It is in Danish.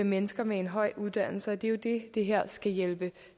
mennesker med en høj uddannelse og det er jo det det her skal hjælpe